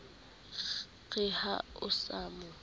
re ha o sa mo